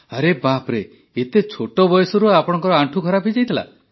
ଆରେ ବାପ୍ରେ ଏତେ ଛୋଟ ବୟସରୁ ଆପଣଙ୍କ ଆଣ୍ଠୁ ଖରାପ ହୋଇଯାଇଥିଲା